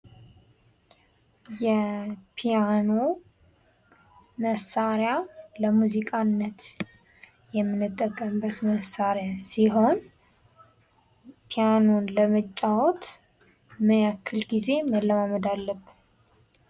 የፒያኖ መሳሪያ ለሙዚቃነት የምንጠቀምበት መሳሪያ ሲሆን ፒያኖ ለመጫዎት ምን ያክል ጊዜ መለማመድ አለብን?